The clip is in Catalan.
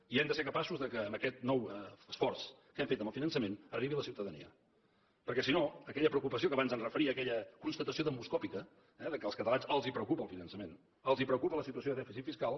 i hem de ser capaços que amb aquest nou esforç que hem fet amb el finançament arribi a la ciutadania perquè si no aquella preocupació a què abans em referia aquella constatació demoscòpica eh que als catalans els preocupa el finançament els preocupa la situació de dèficit fiscal